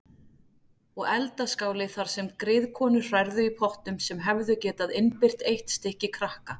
Og eldaskáli þar sem griðkonur hrærðu í pottum sem hefðu getað innbyrt eitt stykki krakka.